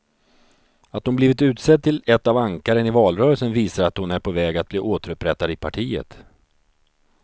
Att hon blivit utsedd till ett av ankaren i valrörelsen visar att hon är på väg att bli återupprättad i partiet.